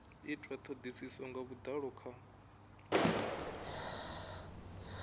itwa thodisiso nga vhudalo kha